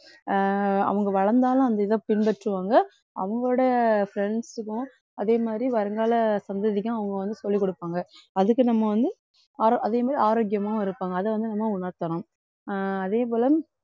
அஹ் அவங்க வளர்ந்தாலும் அந்த இதை பின்பற்றுவாங்க அவங்களோட friends க்கும் அதே மாதிரி வருங்கால சந்ததிக்கும் அவங்க வந்து சொல்லிக்குடுப்பாங்க அதுக்கு நம்ம வந்து ஆரோ~ அதே மாதிரி ஆரோக்கியமாவும் இருப்பாங்க. அதை வந்து நம்ம உணர்த்தணும் ஆஹ் அதே போல